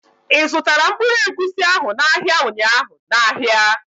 i zụtara mkpụrụ egwusi ahụ n' ahịa ụnyaahụ n' áhiá?